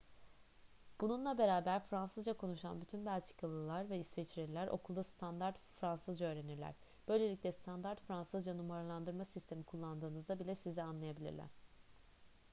bununla beraber fransızca konuşan bütün belçikalılar ve i̇sviçreliler okulda standart fransızca öğrenirler. böylelikle standart fransızca numaralandırma sistemi kullandığınızda bile sizi anlayabilirler